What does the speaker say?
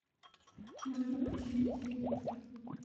нужно починить телевизор